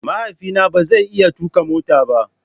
Mahaifina ba zai iya tuka mota ba.